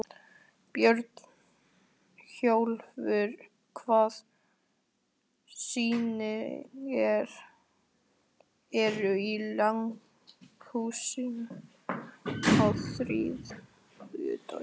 Björnólfur, hvaða sýningar eru í leikhúsinu á þriðjudaginn?